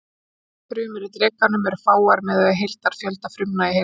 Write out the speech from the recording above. Nýjar frumur í drekanum eru fáar miðað við heildarfjölda frumna í heilanum.